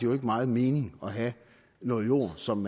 jo ikke meget mening at have noget jord som